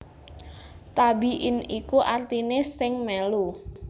Tabi in iku artiné sing mèlu